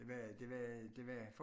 Det var det var det var